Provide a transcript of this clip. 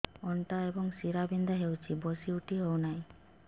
ଅଣ୍ଟା ଏବଂ ଶୀରା ବିନ୍ଧା ହେଉଛି ବସି ଉଠି ହଉନି